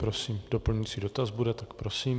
Prosím, doplňující dotaz bude, tak prosím.